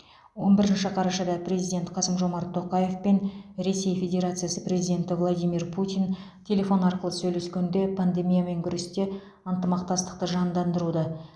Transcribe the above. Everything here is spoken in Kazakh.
он бірінші қарашада президент қасым жомарт тоқаев пен ресей федерациясы президенті владимир путин телефон арқылы сөйлескенде пандемиямен күресте ынтымақтастықты жандандыруды